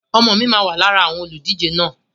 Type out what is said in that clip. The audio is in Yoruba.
Ọmọ mi máà wá lára àwọn olùdíje náà